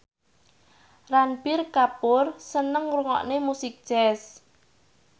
Ranbir Kapoor seneng ngrungokne musik jazz